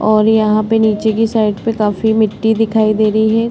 और यहाँ पे नीचे की साइड में काफी मिट्टी दिखाई दे रही है।